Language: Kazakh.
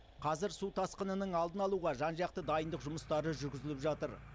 қазір су тасқынының алдын алуға жан жақты дайындық жұмыстары жүргізіліп жатыр